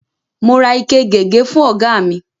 Mo ra ike gègé fú ọ̀gá mi.